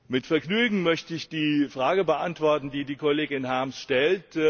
Mit Vergnügen möchte ich die Frage beantworten, die die Kollegin Harms stellt.